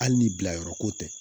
Hali ni bilayɔrɔ ko tɛ